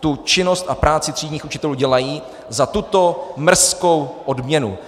tu činnost a práci třídních učitelů dělají za tuto mrzkou odměnu.